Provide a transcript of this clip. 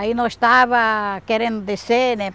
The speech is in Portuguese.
Aí nós estava querendo descer, né?